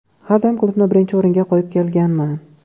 Har doim klubni birinchi o‘ringa qo‘yib kelganman.